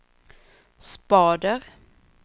spader